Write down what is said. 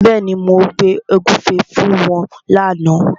Bẹ́ẹ̀ni, mo gbé ògúnfe fún wọn lána.